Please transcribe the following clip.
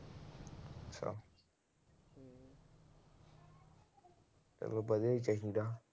ਚਲੋ ਵਧੀਆ ਈ ਚਾਹੀਦਾ।